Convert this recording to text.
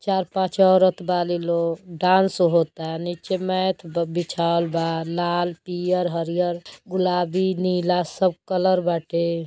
चार पाँच औरत बाली लोग डांस होता नीचे मैथ ब बिछाइल बा। लाल पियर हरियर गुलाबी नीला सब कलर बाटे।